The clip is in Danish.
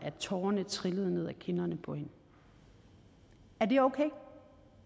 tårerne trillede ned ad kinderne på hende er det okay